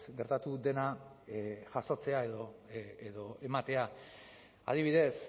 gertatu dena jasotzea edo ematea adibidez